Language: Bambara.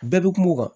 Bɛɛ bɛ kuma o kan